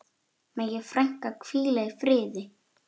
Megi frænka hvíla í friði.